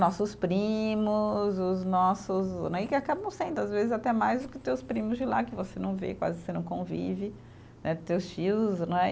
Nossos primos, os nossos, né, e que acabam sendo, às vezes, até mais do que teus primos de lá, que você não vê, quase você não convive, né, teus tios, né.